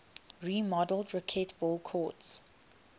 remodeled racquetball courts